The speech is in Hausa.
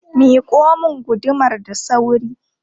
Miƙo mun gudumar da sauri!